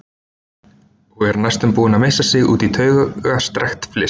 Og er næstum búin að missa sig út í taugastrekkt fliss.